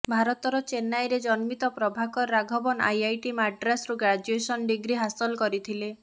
ଭାରତର ଚେନ୍ନାଇରେ ଜନ୍ମିତ ପ୍ରଭାକର ରାଘବନ ଆଇଆଇଟି ମାଡ଼୍ରାସରୁ ଗ୍ରାଜୁଏସନ ଡିଗ୍ରୀ ହାସଲ କରିଥିଲେ